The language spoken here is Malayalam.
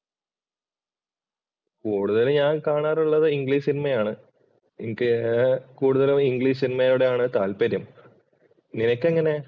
കൂടുതൽ ഞാൻ കാണാറുള്ളത് ഇംഗ്ലിഷ് സിനിമയാണ്. എനിക്ക് കൂടുതലും ഇംഗ്ലീഷ് സിനിമയോടാണ് താല്പര്യം. നിനക്ക് എങ്ങനെയാ?